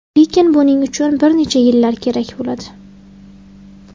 Lekin buning uchun bir necha yillar kerak bo‘ladi.